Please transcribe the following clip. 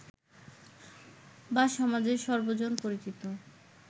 বা সমাজের সর্বজন পরিচিত